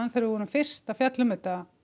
þegar við vorum fyrst að fjalla um þetta